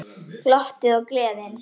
Glottið og gleðin.